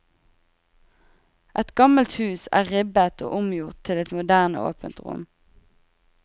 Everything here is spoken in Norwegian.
Et gammelt hus er ribbet og omgjort til et moderne åpent rom.